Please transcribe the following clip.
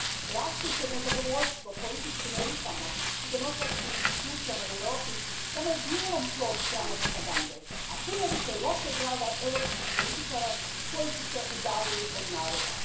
Rastuće nezadovoljstvo političkim elitama i demokratskim institucijama u Europi samo je dijelom plod strane propagande, a puno više lošeg rada europskih političara koji su se udaljili od naroda.